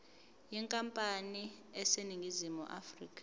yenkampani eseningizimu afrika